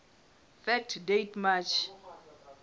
fact date march